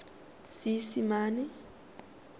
seesimane